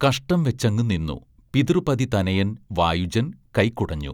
കഷ്ടം വെച്ചങ്ങു നിന്നൂ പിതൃപതിതനയൻ വായുജൻ കൈകുടഞ്ഞൂ